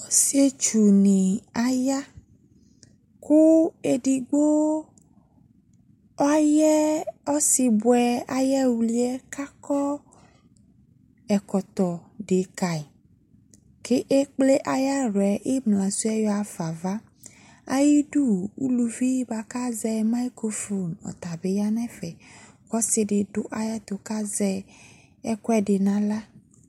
Ɔsietsu ne aya koo edigbo ayɛ ɔsebiɛ ayɛwliɛ ka kɔ ɛkɔtɔ de kai ke kple ayaluɛ emla suɛ yɔ ha fa avaAyidu, uluvi boako azɛ maikrofon ɔta be ya nɛfɛ ko ɔse de ayɛto kazɛ ekuɛde no ala